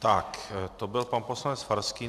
Tak, to byl pan poslanec Farský.